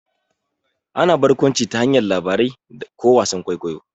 Ana barkwanci ta hanyar labarai ko wasan kwaikwayo.